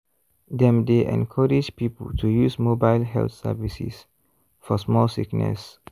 dem dey encourage people to use mobile health services for small sickness.